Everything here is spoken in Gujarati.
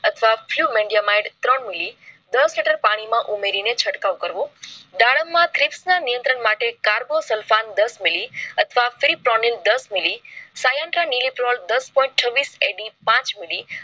અથવા fevmindya myd ત્રણ મિલી દસ લિટર પાણી માં ઉમેરી ને છટકાવ કરવો. દાડમ માં ત્રીસના નિયંત્રણ માટે carbosulphan દસ મિલી. અથવા prepolene દસ મિલી. syantran nelepol દસ point છવ્વીસ AD પાંચ મિલિ